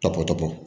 Tɔpɔtɔ bɔ